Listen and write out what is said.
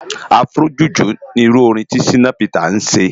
Afro juju ni irù órin to Shina Peters sé